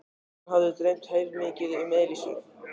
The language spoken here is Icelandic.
Hann hafði dreymt heilmikið um Elísu.